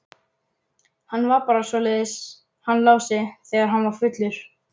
Hann var bara svoleiðis hann Lási þegar hann var fullur.